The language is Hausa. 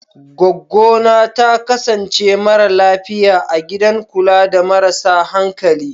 Goggona ta kasance mara lafiya a gidan kula da marasa hankali.